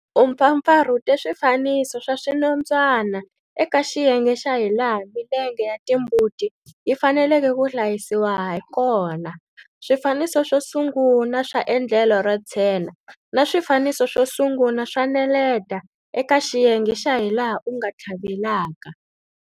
U mpfapfarhute swifaniso swa swinondzwana eka xiyenge xa hilaha milenge ya timbuti yi faneleke ku hlayisiwa ha kona, swifaniso swo sungula swa endlelo ro tshena na swifaniso swo sungula swa neleta eka xiyenge xa hilaha u nga tlhavelaka.